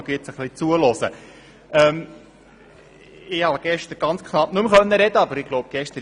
Gestern wurde bereits ziemlich viel gesagt.